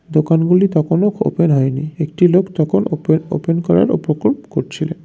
দোকানগুলি তখনও ওপেন হয়নি একটি লোক তখন ওপেন ওপেন করার উপকূল করছিলেন।